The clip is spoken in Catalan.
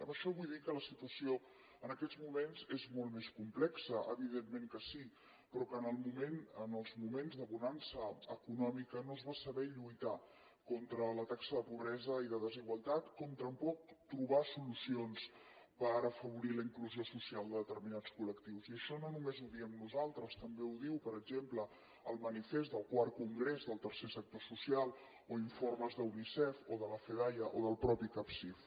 amb això vull dir que la situació en aquests moments és molt més complexa evidentment que sí però que en els moments de bonança econòmica no es va saber lluitar contra la taxa de pobresa i de desigualtat com tampoc trobar solucions per afavorir la inclusió social de determinats col·ho diem nosaltres també ho diu per exemple el manifest del iv congrés del tercer sector social o informes d’unicef o de la fedaia o del mateix capsif